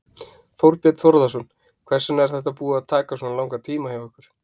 Þorbjörn Þórðarson: Hvers vegna er þetta búið að taka svona langan tíma hjá ykkur?